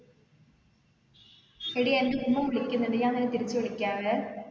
എടി എൻ്റെ ഉമ്മ വിളിക്കിന്നിണ്ട് ഞാൻ നിന്നെ തിരിച്ച് വിളിക്കാവേ